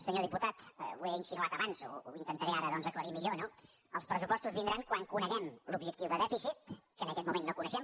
senyor diputat ho he insinuat abans ho intentaré ara doncs aclarir millor no els pressupostos vindran quan coneguem l’objectiu de dèficit que en aquest moment no coneixem